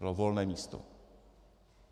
Bylo volné místo.